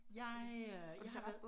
Jeg øh jeg har været